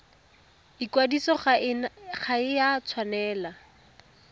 ikwadiso ga e a tshwanela